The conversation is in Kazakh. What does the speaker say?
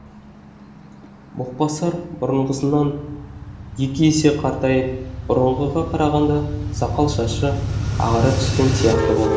боқбасар бұрынғысынан екі есе қартайып бұрынғыға қарағанда сақал шашы ағара түскен сияқты болды